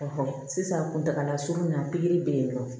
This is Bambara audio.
sisan kuntagala surunna bɛ yen nɔ